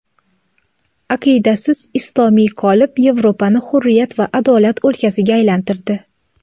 aqiydasiz islomiy qolip Yevropani hurriyat va adolat o‘lkasiga aylantirdi.